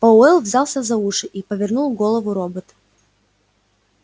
пауэлл взялся за уши и повернул голову робот